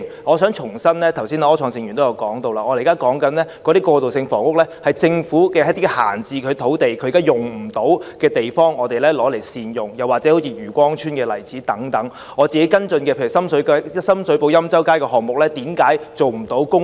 我想重申，正如剛才柯創盛議員也提到，我們現時所說的過渡性房屋，是將政府一些閒置土地、用不到的地方加以善用，好像漁光邨等例子；又例如我跟進的深水埗欽州街項目，為何不能用作公屋呢？